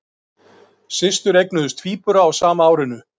Systur eignuðust tvíbura á sama árinu